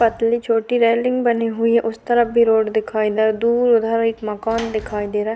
पतली छोटी रैलिंग बनी हुई है उस तरफ भी रोड दिखाई न दूर है एक मकान दिखाई दे रहा है।